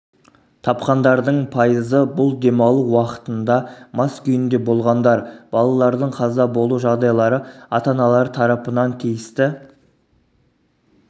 тапқандардың пайызы бұл демалу уақытында мас күйінде болғандар балалардың қаза болу жағдайлары ата-аналары тарапынан тиісті